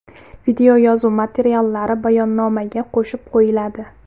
Videoyozuv materiallari bayonnomaga qo‘shib qo‘yiladi.